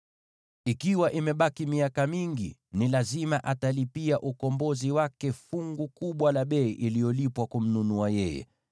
Ikiwa imebaki miaka mingi, ni lazima atalipia ukombozi wake fungu kubwa la bei iliyolipwa kumnunua yeye.